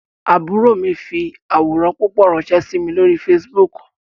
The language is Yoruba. Àbúrò mi fi àwòrán púpọ̀ ránsẹ́ sí mi lórí Facebook